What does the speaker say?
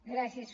gràcies